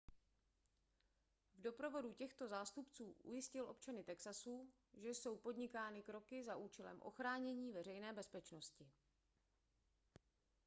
v doprovodu těchto zástupců ujistil občany texasu že jsou podnikány kroky za účelem ochránění veřejné bezpečnosti